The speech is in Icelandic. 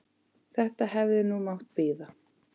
Þetta hefði nú mátt bíða.